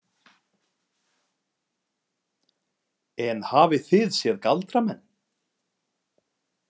En hafið þið séð galdramenn?